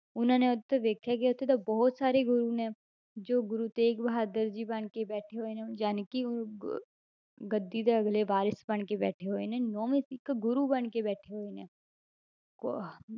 ਉਹਨਾਂ ਨੇ ਉੱਥੇ ਵੇਖਿਆ ਕਿ ਉੱਥੇ ਤਾਂ ਬਹੁਤ ਸਾਰੇ ਗੁਰੂ ਨੇ, ਜੋ ਗੁਰੂ ਤੇਗ ਬਹਾਦਰ ਜੀ ਬਣਕੇ ਬੈਠੇ ਹੋਏ ਨੇ ਜਾਣਕਿ ਉਹ ਗ~ ਗੱਦੀ ਦੇ ਅਗਲੇ ਵਾਰਿਸ਼ ਬਣਕੇ ਬੈਠੇ ਹੋਏ ਨੇ ਨੋਵੇਂ ਸਿੱਖ ਗੁਰੂ ਬਣਕੇ ਬੈਠੇ ਹੋਏ ਨੇ, ਕੋ~